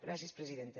gràcies presidenta